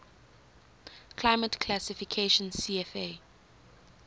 climate classification cfa